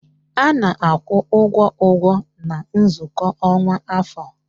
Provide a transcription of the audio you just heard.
A na-akwụ ụgwọ ụgwọ na nzukọ ọkwa afọ